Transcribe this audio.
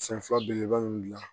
San fila belebeleba in gilan